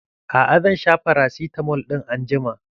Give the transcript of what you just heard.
A'a, zan sha farasitamol ɗin anjima.